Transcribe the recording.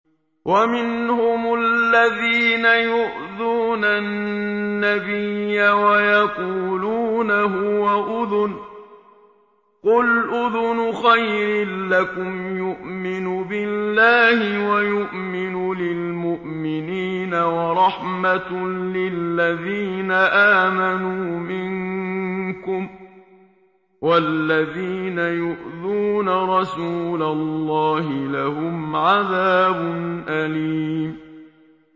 وَمِنْهُمُ الَّذِينَ يُؤْذُونَ النَّبِيَّ وَيَقُولُونَ هُوَ أُذُنٌ ۚ قُلْ أُذُنُ خَيْرٍ لَّكُمْ يُؤْمِنُ بِاللَّهِ وَيُؤْمِنُ لِلْمُؤْمِنِينَ وَرَحْمَةٌ لِّلَّذِينَ آمَنُوا مِنكُمْ ۚ وَالَّذِينَ يُؤْذُونَ رَسُولَ اللَّهِ لَهُمْ عَذَابٌ أَلِيمٌ